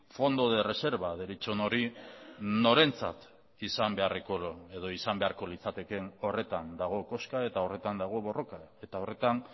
fondo de reserva deritzon hori norentzat izan beharreko edo izan beharko litzatekeen horretan dago koska eta horretan dago borroka eta horretan